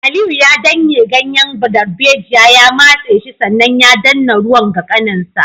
Aliyu ya danne ganyen darbejiya ya matse shi sannan ya danna ruwan ga kanin nasa